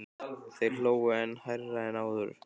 Þeir hlógu enn hærra en áður.